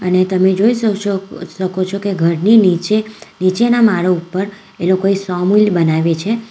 ને તમે જોઈ શકશો શકો છો કે ઘરની નીચે નીચેના મારા ઉપર એ લોકોએ સોમીલ બનાવી છે.